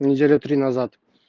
неделю три назад